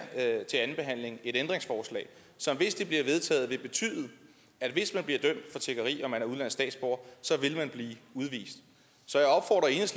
til andenbehandlingen et ændringsforslag som hvis det bliver vedtaget vil betyde at hvis man bliver dømt for tiggeri og er udenlandsk statsborger vil man blive udvist så